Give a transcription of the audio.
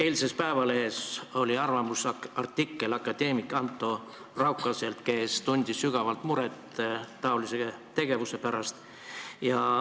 Eilses Eesti Päevalehes oli arvamusartikkel akadeemik Anto Raukaselt, kes tundis sügavat muret taolise tegevuse pärast.